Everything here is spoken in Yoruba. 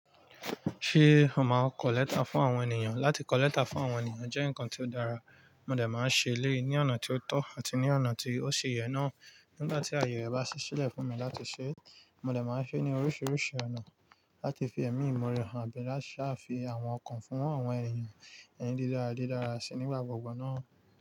Ṣé o máa kọlẹ́tà fún àwọn ènìyàn? Látí kọlẹ́tà fún àwọn ènìyàn jẹ́ ǹkan tí ó dára, mo lè máa ṣe é léè ní ọ̀nà tí ó tọ̀ àti ní ọ̀nà tí ó ṣe yẹ náà. Nígbà tí àyè bá ṣẹ́ sílẹ̀ fún mi láti ṣe é, mo lè máa ṣe é ní oríṣiríṣi ọ̀nà láti fi ẹ̀mí ìmu re hàn bí láti sá fi àwọn ọkàn fún àwọn ènìyàn ẹni dídára dídára síi nígbà gbogbo náà.